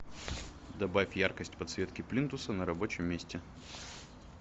добавь яркость подсветки плинтуса на рабочем месте